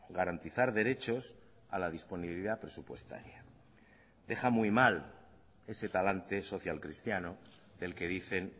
garantizar derechos a la disponibilidad presupuestaria deja muy mal ese talante social cristiano del que dicen